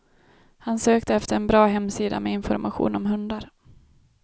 Han sökte efter en bra hemsida med information om hundar.